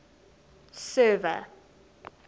server